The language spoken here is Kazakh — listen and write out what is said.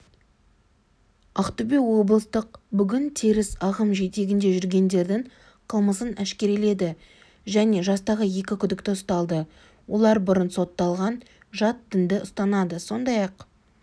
ақтөбе облыстық бүгін теріс ағым жетегінде жүргендердің қылмысын әшкереледі және жастағы екі күдікті ұсталды олар бұрын сотталған жат дінді ұстанады сондай-ақ